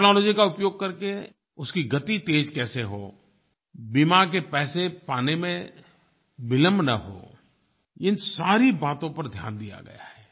technology का उपयोग करके उसकी गति तेज़ कैसे हो बीमा के पैसे पाने में विलम्ब न हो इन सारी बातों पर ध्यान दिया गया है